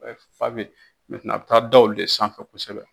Fa bɛ a bɛi taa da olu de sanfɛ kosɛbɛ.